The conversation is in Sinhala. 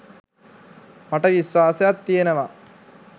මට විශ්වාසයක් තියෙනවා